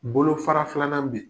Bolofara filanan bɛ ye.